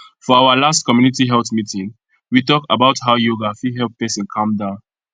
for our last community health meeting we talk about how yoga fit help person calm down